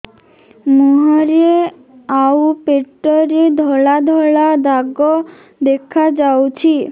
ମୁହଁରେ ଆଉ ପେଟରେ ଧଳା ଧଳା ଦାଗ ଦେଖାଯାଉଛି